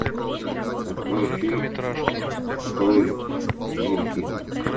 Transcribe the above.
открой фильм половинки